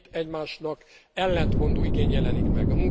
Két, egymásnak ellentmondó igény jelenik meg.